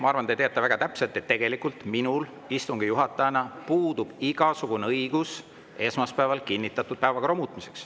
Ma arvan, et te teate väga hästi, et tegelikult minul istungi juhatajana puudub igasugune õigus esmaspäeval kinnitatud päevakorda muuta.